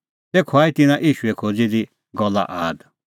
तेखअ आई तिन्नां ईशू खोज़ी दी गल्ला आद